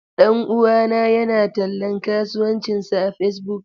Ɗan uwana yana tallan kasuwancinsa a Facebook.